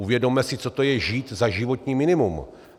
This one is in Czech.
Uvědomme si, co to je, žít za životní minimum.